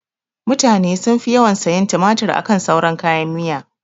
Mutane sun fi yawan sayan tumatur akan sauran kayan miya